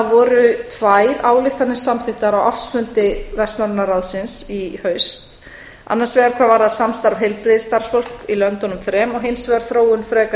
voru tvær ályktanir samþykktar á ársfundi vestnorræna ráðsins í haust annars vegar hvað varðar samstarf heilbrigðisstarfsfólks í löndunum þrem og hins vegar þróun frekara